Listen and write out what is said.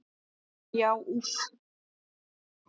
Já, úff.